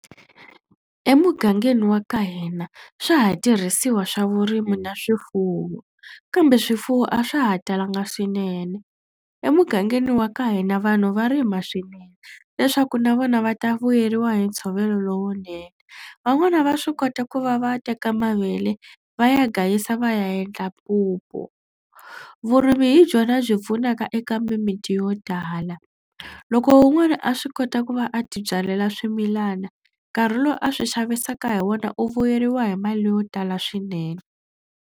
Emugangeni wa ka hina swa ha tirhisiwa swa vurimi na swifuwo kambe swifuwo a swa ha talanga swinene. Emugangeni wa ka hina vanhu va rima swinene leswaku na vona va ta vuyeriwa hi ntshovelo lowunene. Van'wana va swi kota ku va va teka mavele va ya gayisa va ya endla mpupu. Vurimi hi byona byi pfunaka eka mimiti yo tala. Loko wun'wana a swi kota ku va a tibyalela swimilana nkarhi lowu a swi xavisaka hi wona u vuyeriwa hi mali leyo tala swinene.